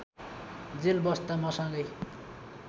jail बस्दा मसँगै